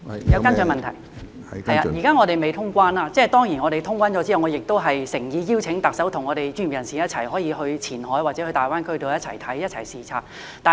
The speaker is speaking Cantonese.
現在我們尚未通關，待通關後，我誠意邀請特首與專業人士一起到前海或大灣區看看，一起視察。